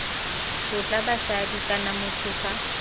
tlotla basadi kana motho fa